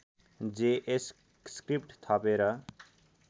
JS script थपेर